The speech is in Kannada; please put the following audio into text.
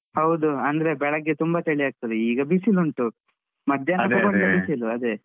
ಹೌದು ಅಂದ್ರೆ ಬೆಳಗ್ಗೆ ತುಂಬಾ ಚಳಿ ಆಗ್ತದೆ ಈಗ ಬಿಸಿಲುಂಟು. ಬಿಸಿಲು ಅದೇ.